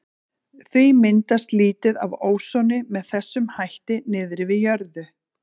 Því myndast lítið af ósoni með þessum hætti niðri við jörðu.